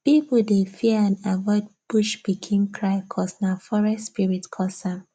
people dey fear and avoid bush pikin cry cuz nah forest spirit cus am